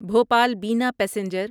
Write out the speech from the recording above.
بھوپال بنا پیسنجر